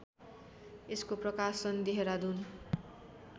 यसको प्रकाशन देहरादुन